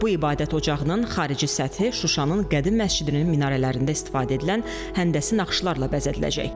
Bu ibadət ocağının xarici səthi Şuşanın qədim məscidinin minarələrindən istifadə edilən həndəsi naxışlarla bəzədiləcək.